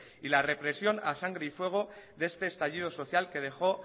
y la represión a sangre y fuego de este estallido social que dejó